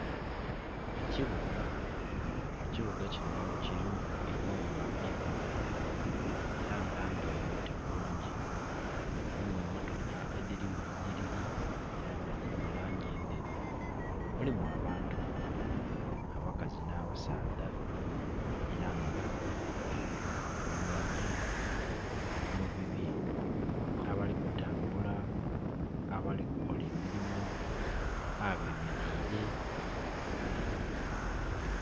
Ekibuga kinho kirimu enumba empanvu era nga ndoyote bulungi, mulimu emotoka edhiri mu nniriri era nga dhiri mu langi enderu. Mulimu abantu, abakazi nh'abasaadha, era nga buli muntu ali mu bibye, abali kutambula, abemereile, abali kukola emirimu.